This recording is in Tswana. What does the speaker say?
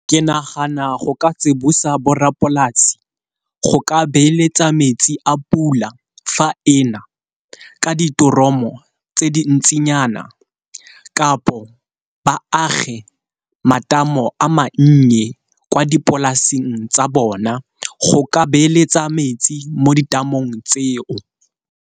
Ke nagana go ka tsibosa borrapolasi go ka beeletsa metsi a pula fa ena ka diforomo tse di ntsinyana, kapo ba age matamo a mannye kwa dipolaseng tsa bona go ka beeletsa metsi mo di tamong tseo.